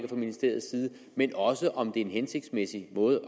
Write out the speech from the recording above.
fra ministeriets side men også om det er en hensigtsmæssig måde